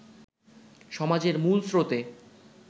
সমাজের মূল স্রোতে